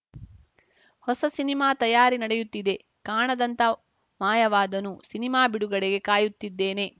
ಹೊಸ ಸಿನಿಮಾ ತಯಾರಿ ನಡೆಯುತ್ತಿದೆ ಕಾಣದಂತ ಮಾಯವಾದನು ಸಿನಿಮಾ ಬಿಡುಗಡೆಗೆ ಕಾಯುತ್ತಿದ್ದೇನೆ